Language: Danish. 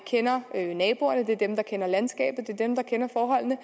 kender naboerne det er dem der kender landskabet det er dem der kender forholdene